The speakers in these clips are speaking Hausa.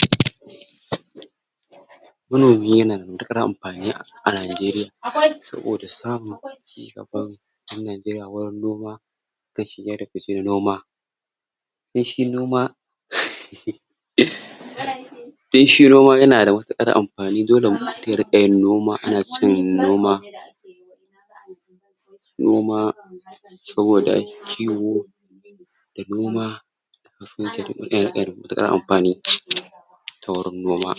manomi nada matuƙar anfani a manomi yanada matuNajeriya dole mu koma mu dinga yin noman nan da kyauar a najeriya saboda samun cigaban ƴan Najeriya wajan noma da shiga da ficer noma dan shi noma dan shi noma tanada wa matuƙar anfani dole mutun ya rinƙa yin noma ana cin noma noma saboda kiwo da noma yanada matuƙar ahfani ta wurin noma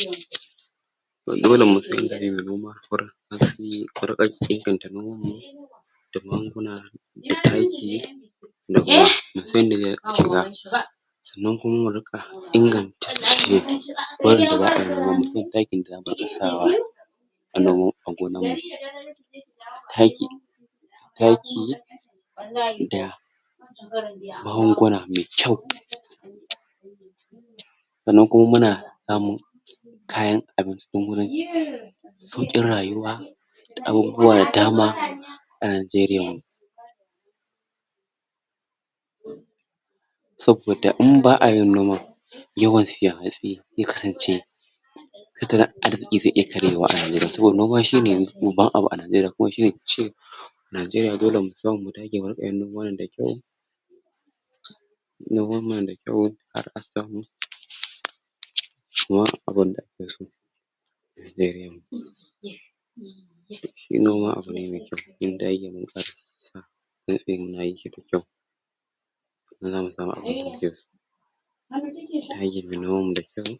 dole mutun ya dage da noma hatsi ku rika kebata noman mu da magunguna da taki da kuma sanan kuma muriƙa inganta wurin da za'ayi noma musan takin da zamu rika sawa a nomo a gonan taki taki da magunguna me kyau sanan kuma muna samun kayan abin cikin gonaki sauƙin rayuwa abubuwa da dama a Najeriyan mu saboda in ba'a yin noman yawan siyan hatsi ze kasance ita arziki zai iya karyewa a Najeriya saboda noma shune yanzu babban abu a Najeriya kua shine fice najeriya dole mu koma mudinga yin noman nan da kyau noma nada kyau kuma abun da ake so Najeriyan mu shi noma abune me kyau zamu samu abun da muke so ko mu dage muyi noman mu da kyau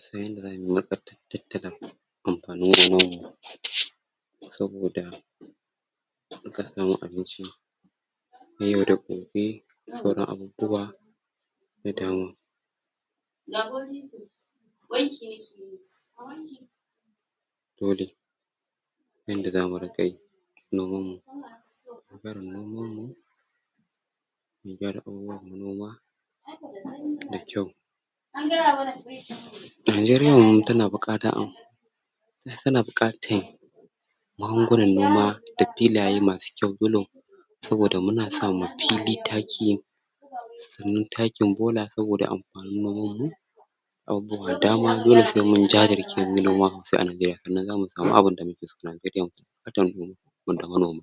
musan yadda zamuyi mu tattalin anfani wanan saboda duka asamo abinci na yau da gobe da sauran abubuwa da dama dole yanda zamu riƙa yi noman mu abar numan mu bibiya da abubuwa na noma da kyau najeriyan mu tana buƙatan tana buƙatan magungunan noma da filaye masu kyau saboda muna sa ma filli taki sanan takin bola saboda anf abubuwa da dama dole se mun jajirce munyi noma abubuwa da dama dole saimun jairce se muyi noma se a Najeriya sanan zamu samu se aNajeriya sanan zamu samu abinda muke so a Najeriyan mu